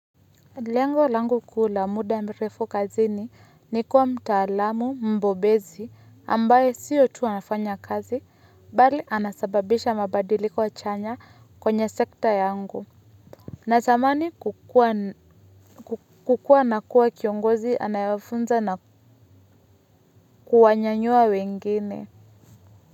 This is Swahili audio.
Lengo langu kuu la muda mrefu kazini ni kuwa mtaalamu mbobezi ambaye sio tu anafanya kazi, bali anasababisha mabadiliko chanya kwenye sekta yangu. Na tamani kukuwa na kuwa kiongozi anayefunza na kuwanyanyua wengine.